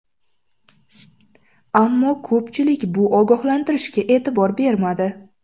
Ammo ko‘pchilik bu ogohlantirishga e’tibor bermadi.